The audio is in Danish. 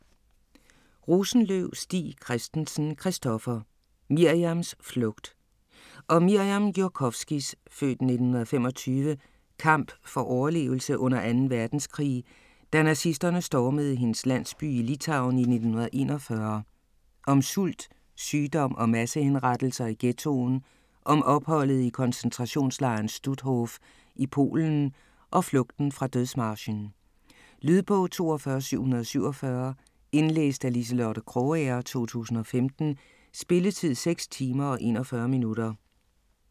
Rosenløv Stig Christensen, Christoffer: Mirjams flugt Om Mirjam Jurkofskys (f. 1925) kamp for overlevelse under anden verdenskrig, da nazisterne stormede hendes landsby i Litauen i 1941, om sult, sygdom og massehenrettelser i ghettoen, om opholdet i koncentrationslejren Stutthof i Polen og flugten fra dødsmarchen. Lydbog 42747 Indlæst af Liselotte Krogager, 2015. Spilletid: 6 timer, 41 minutter.